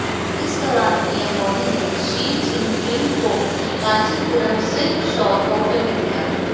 इस दौरान पीएम मोदी ने शी चिनफिंग को कांचीपुरम सिल्क शॉल तोहफे में दिया